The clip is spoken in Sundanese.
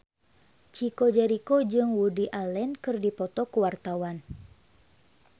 Chico Jericho jeung Woody Allen keur dipoto ku wartawan